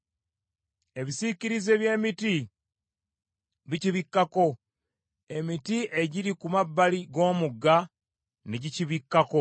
Ebisiikirize by’emiti bikibikkako, emiti egiri ku mabbali g’omugga ne gikibikkako.